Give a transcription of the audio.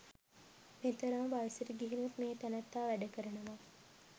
මෙතරම් වයසට ගිහිනුත් මේ තැනැත්තා වැඩ කරනවා.